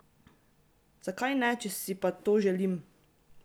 Zakaj ne, če si pa to želim?